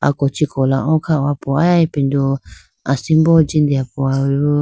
ako chee kola o khaho po aya ipindu asimbo jiho po.